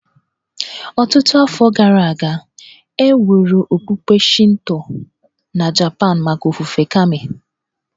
Ọtụtụ afọ gara aga, e wuru okpukpe Shinto na Japan maka ofufe Kami